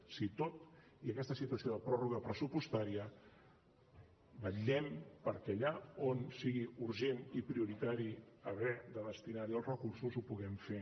o sigui tot i aquesta situació de pròrroga pressupostària vetllem perquè allà on sigui urgent i prioritari haver de destinar hi els recursos ho puguem fer